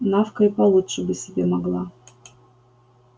навка и получше бы себе могла